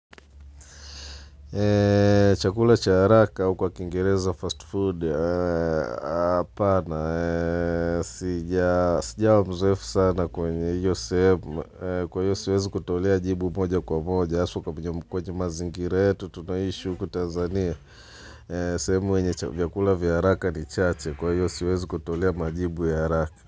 Chakula cha haraka au kwa kingereza fast food apana, sijawa muzowefu sana kwenye hio sehemu, kwa io siwezi kutolea jibu moja kwa moja, haswa kwenye mazingira yetu, tunaishi huku tanzania, sehemu yenye vyakula vya haraka ni chache, kwa io siwezi kutolea majibu ya haraka.